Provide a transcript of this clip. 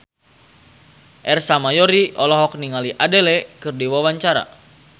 Ersa Mayori olohok ningali Adele keur diwawancara